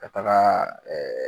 Ka taga ɛɛ